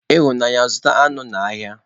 Ịhụnanya, zụta anụ n'ahịa.